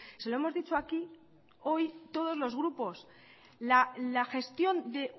se lo hemos dicho aquí hoy todos los grupos la gestión de